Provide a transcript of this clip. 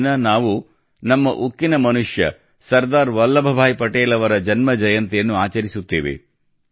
ಈ ದಿನ ನಾವು ನಮ್ಮ ಉಕ್ಕಿನ ಮನುಷ್ಯ ಸರ್ದಾರ್ ವಲ್ಲಭಭಾಯಿ ಪಟೇಲ್ ಅವರ ಜನ್ಮಜಯಂತಿಯನ್ನು ಆಚರಿಸುತ್ತೇವೆ